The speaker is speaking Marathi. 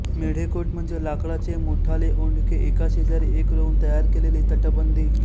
मेढेकोट म्हणजे लाकडाचे मोठाले ओंडके एका शेजारी एक रोवून तयार केलेली तटबंदी